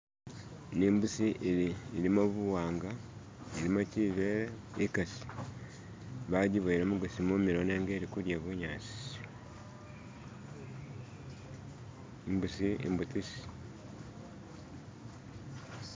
Ni mbusi ili ilimo buwanga ilimo chibeele ikasi bajuboyele mugosi mumilo nenga ilikudya bunyasi imbusi imbutisi